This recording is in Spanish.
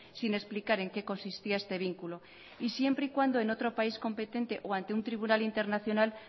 sin explicar en qué consistía este vínculo y siempre y cuando en otro país competente o ante un tribunal internacional